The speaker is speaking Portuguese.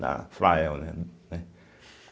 da Flael, né? né